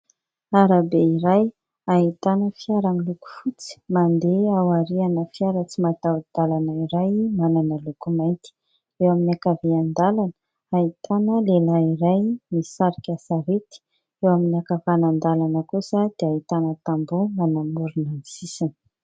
Arabe iray ahitana fiara miloko fotsy mandeha aoriana fiara tsy mataho-dalana iray manana loko mainty, eo amin'ny ankavian-dalana ahitana lehilahy iray misarika sarety, eo amin'ny akavanan-dalana kosa dia ahitana tamboho manamorona ny sisiny.